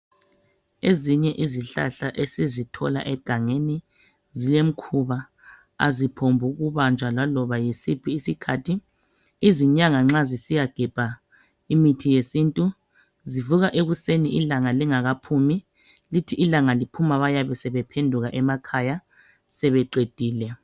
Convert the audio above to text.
Ezinye zezihlahla esizithola egangeni zilemikhuba aziphombukubanjwa laloba yisiphi isikhathi izinyanga nxa zisiyagebha imithi yesintu zivuka ekuseni ilanga lingakaphumi lithi ilanga liphuma bayabe sebephenduka emakhaya sebeqedile